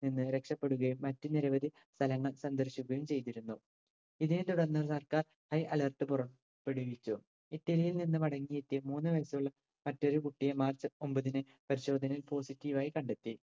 നിന്ന് രക്ഷപ്പെടുകയും മറ്റ് നിരവധി സ്ഥലങ്ങൾ സന്ദർശിക്കുകയും ചെയ്തിരുന്നു. ഇതിനെ തുടർന്ന് സർക്കാർ high alert പുറപ്പെടുവിച്ചു. ഇറ്റലിയിൽ നിന്ന് മടങ്ങിയെത്തിയ മൂന്ന് വയസ്സുള്ള മറ്റൊരു കുട്ടിയെ മാർച്ച് ഒമ്പതിന് പരിശോധനയിൽ positive ആയി കണ്ടെത്തി.